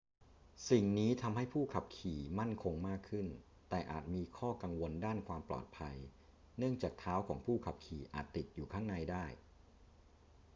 สิ่งนี้ทำให้ผู้ขับขี่มั่นคงมากขึ้น แต่อาจมีข้อกังวลด้านความปลอดภัยเนื่องจากเท้าของผู้ขับขี่อาจติดอยู่ข้างในได้